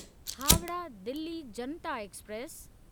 Howrah Delhi Janata express